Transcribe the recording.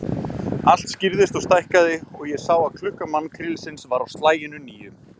Allt skýrðist og stækkaði, og ég sá að klukka mannkrílisins var á slaginu níu.